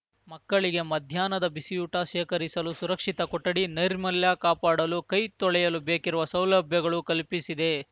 ಮಕ್ಕಳಿಗೆ ಮಧ್ಯಾಹ್ನದ ಬಿಸಿಯೂಟ ಶೇಖರಿಸಲು ಸುರಕ್ಷಿತ ಕೊಠಡಿ ನೈರ್ಮಲ್ಯ ಕಾಪಾಡಲು ಕೈ ತೊಳೆಯಲು ಬೇಕಿರುವ ಸೌಲಭ್ಯಗಳು ಕಲ್ಪಿಸಿದೆ